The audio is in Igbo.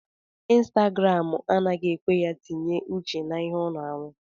Instagram anaghị ekwe ya tinye uche na ihe ọ na arụ